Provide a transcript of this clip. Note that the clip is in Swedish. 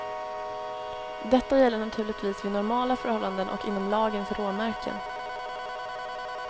Detta gäller naturligtvis vid normala förhållanden och inom lagens råmärken.